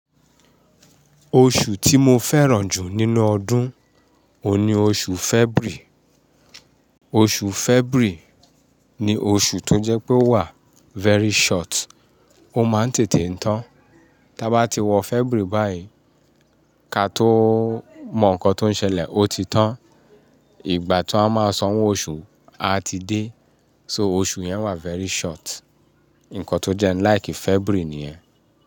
Oṣù tí mo fẹ́ràn jù nínú ọdún, òun ni oṣù February. Oṣù February ni oṣù tó jẹ́ pé ó wà very short, ó máa ń tètè tán. Tí a bá ti wọ February báyìí, ká tó mọ nǹkan tó ń ṣẹlẹ̀, ó ti tán. Ìgbà tí wón máa sanwó oṣù, a ti dé. So oṣù yẹn wà very short. Ǹkan tó jẹ́ n like February ni ẹ́.